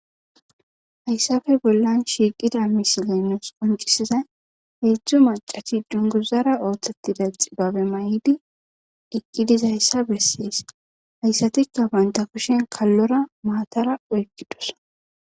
Hayssafe bollan shiiqida misilenus qoncisizay heedzdzu macachi dunguzara ooththetida xibabe may'idi iqqidiz ayssa bessees hayssatikka banta kushen kallora maatara oykkidos